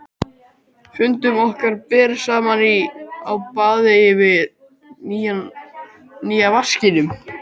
Fundum okkar ber saman inni á baði yfir nýja vaskinum.